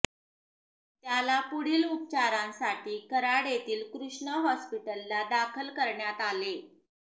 त्याला पुढील उपचारासाठी कराड येथील कृष्णा हॉस्पिटलला दाखल करण्यात आले